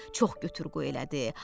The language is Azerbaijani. Çox götür-qoy elədi.